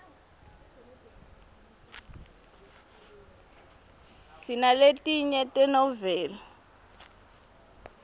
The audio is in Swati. sinaletinye tenoveli